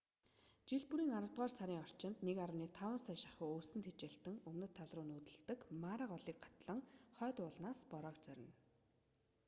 жил бүрийн аравдугаар сарын орчимд 1,5 сая шахуу өвсөн тэжээлтэн өмнөд талруу нүүдэлдэг мара голыг гатлан хойд уулнаас бороог зорино